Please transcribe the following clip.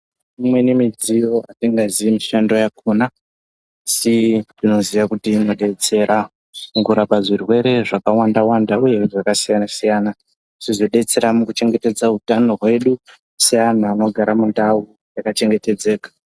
Imweni midziyo hatiziye mishando yakona asi tinoziye kuti inobetsera mukurapa zvirwere zvakawanda-wanda, uye zvakasiyana-siyana. Zvozobetsera mukuchengetedza utano hwedu seantu anogara mundau yakachengetedzeka.